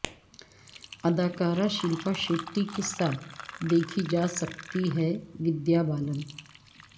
ادکارہ شلپا شیٹی کے ساتھ دیکھی جاسکتی ہےودیا بالن